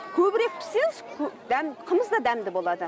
көбірек піссеңіз қымыз да дәмді болады